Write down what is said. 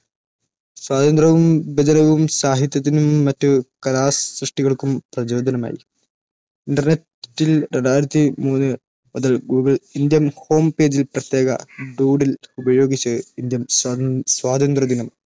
സ്വാതന്ത്ര്യവും വിഭജനവും സാഹിത്യത്തിനും മറ്റ് കലാസൃഷ്ടികൾക്കും പ്രചോദനമായി. Internet ൽ രണ്ടായിരത്തി മൂന്ന് മുതൽ Google Indian Home പേജിൽ പ്രത്യേക ൽ ഉപയോഗിച്ച് ഇന്ത്യൻ സ്വാതന്ത്ര്യദിനം